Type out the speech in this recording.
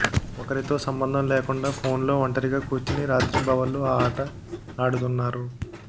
ఒకరితో సంబంధం లేకుండా ఫోన్లో ఒంటిరిగా కూర్చొని రాత్రింబవళ్లు ఈ ఆట ఆడుతున్నారు